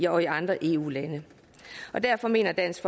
andre eu lande derfor mener dansk